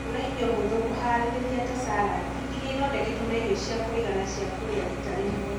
Gũra irio hũthũ kũhaarĩria ta salad iria ithondeketwo na irio cia kũigana cia kũrĩa rita rĩmwe.